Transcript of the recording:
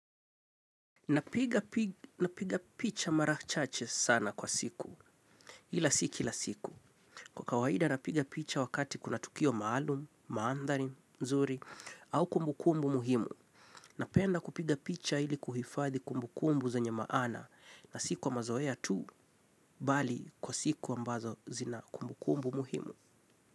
Napiga picha mara chache sana kwa siku, ila si kila siku. Kwa kawaida napiga picha wakati kuna tukio maalum, mandhari, nzuri, au kumbukumbu muhimu. Napenda kupiga picha ili kuhifadhi kumbukumbu zenye maana na si kwa mazoea tu, bali kwa siku ambazo zina kumbukumbu muhimu.